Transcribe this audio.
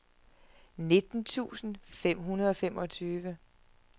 nitten tusind fem hundrede og femogtyve